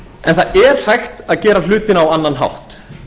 en það er hægt að gera hlutina á annan hátt